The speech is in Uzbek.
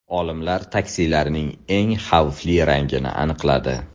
Olimlar taksilarning eng xavfli rangini aniqladi.